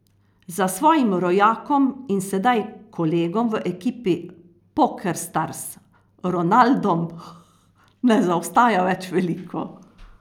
Za svojim rojakom in sedaj kolegom v ekipi Pokerstars, Ronaldom, ne zaostaja več veliko.